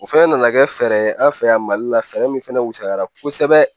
O fɛnɛ nana kɛ fɛɛrɛ ye an fɛ yan mali la fɛɛrɛ min fana wusayara kosɛbɛ